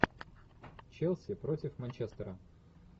челси против манчестера